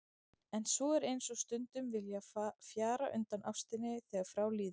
En svo er eins og stundum vilji fjara undan ástinni þegar frá líður.